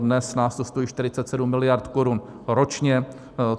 Dnes nás to stojí 47 miliard korun ročně.